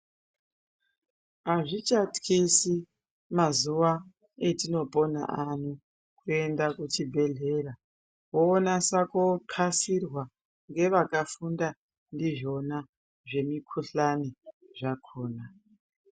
Azvichatyisi mazuwa etinopona ano, kuyenda kuchibhedhlera wonasa koxasirwa ngevakafunda ndizvona zvemikuhlani zvakona.